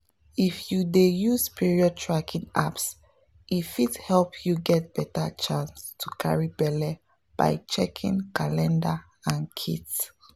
if you dey use period tracking apps e fit help you get better chance to carry belle by checking calendar and kits.